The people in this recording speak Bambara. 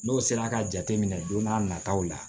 N'o sera ka jateminɛ don n'a nataw la